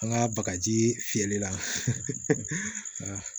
An ka bagaji fiyɛli la